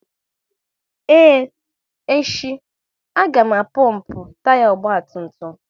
Ee, echi, a ga pompu taya ọgba tum tum